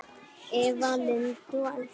Eva Lind og Elsa.